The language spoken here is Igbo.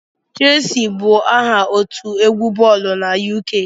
Shelsi bụ aha otu egwu boolu na UK